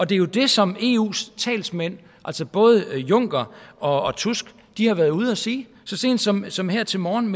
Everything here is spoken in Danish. det er jo det som eus talsmænd altså både juncker og tusk har været ude at sige så sent som som her til morgen